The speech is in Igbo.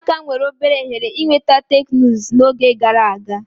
Ụmụaka nwere obere ohere ịnweta teknụzụ n'oge gara aga.